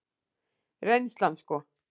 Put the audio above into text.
Reynslan sko.